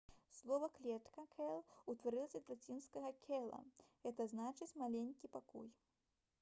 слова «клетка» cell утварылася ад лацінскага cella г. зн. «маленькі пакой»